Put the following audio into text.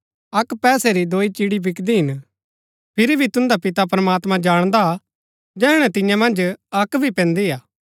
अक्क पैसे री दोई चिड़ी बिकदी हिन फिरी भी तुन्दा पिता प्रमात्मां जाणदा जैहणै तियां मन्ज अक्क भी पैन्दी हा